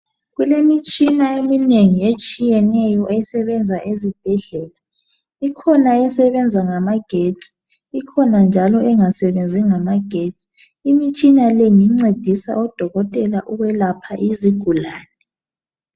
Kulemitshina eminengi etshiyeneyo esebenza ezibhedlela. Ikhona esebenza ngamagetsi, ikhona njalo engasebenzi ngamagetsi. Imitshina le ngencedisa odokotela ukwelapha izigulane.